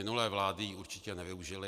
Minulé vlády ji určitě nevyužily.